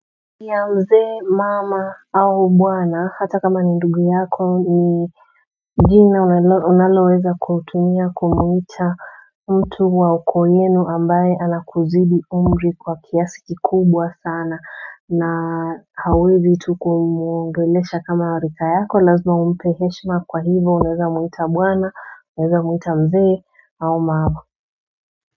Ya mzee mama au bwana hata kama ni ndugu yako ni jina unaloweza kutumia kumuita mtu wa ukoo yenu ambaye anakuzidi umri kwa kiasi kikubwa sana na hauwezi tu kumwongelesha kama rika yako lazima umpee heshima kwa hivo unaeza muita bwana unaeza muita mzee au mama.